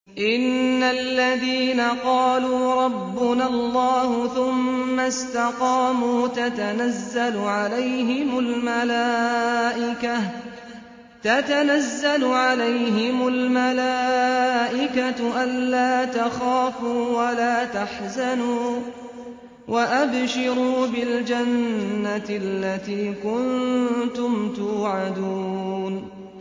إِنَّ الَّذِينَ قَالُوا رَبُّنَا اللَّهُ ثُمَّ اسْتَقَامُوا تَتَنَزَّلُ عَلَيْهِمُ الْمَلَائِكَةُ أَلَّا تَخَافُوا وَلَا تَحْزَنُوا وَأَبْشِرُوا بِالْجَنَّةِ الَّتِي كُنتُمْ تُوعَدُونَ